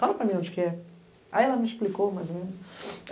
Fala para mim onde que é. Aí ela me explicou mais ou menos.